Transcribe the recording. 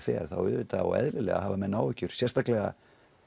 fer þá auðvitað og eðlilega hafa menn áhyggjur sérstaklega